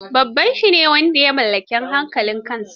Babba shi ne wanda ya mallaki hankalin kansa.